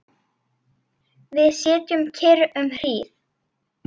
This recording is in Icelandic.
Við sitjum kyrr um hríð.